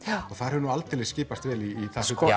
og það hefur aldeilis skipast vel í